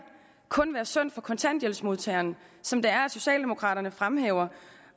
kun være synd for kontanthjælpsmodtageren som socialdemokraterne fremhæver